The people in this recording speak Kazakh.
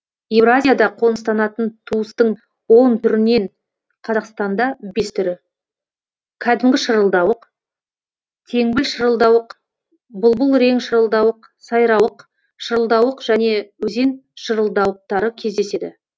еуразияда қоныстанатын туыстың он түрінен қазақстанда бес түрі кәдімгі шырылдауық теңбіл шырылдауық бұлбұлрең шырылдауық сайрауық шырылдауық және өзен шырылдауықтары кездеседі